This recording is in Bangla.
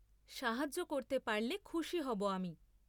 সাহায্য করতে পারলে খুশি হব আমি।